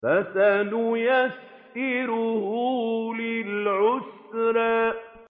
فَسَنُيَسِّرُهُ لِلْعُسْرَىٰ